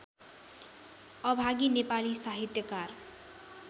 अभागी नेपाली साहित्यकार